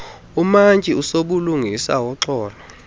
umantyi usobulungisa woxolo